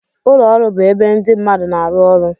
Ụlọ ọrụ bụ ebe ndị mmadụ na-arụ ọrụ